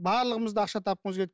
барлығымыз да ақша тапқымыз келеді